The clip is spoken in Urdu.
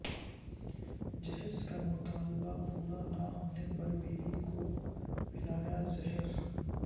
جہیزکا مطالبہ پورا نہ ہونے پر بیوی کو پلا یا زہر